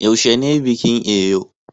yaushe ne bikin Eyo